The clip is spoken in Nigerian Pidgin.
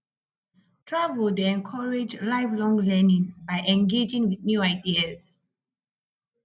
travel dey encourage lifelong learning by engaging with new ideas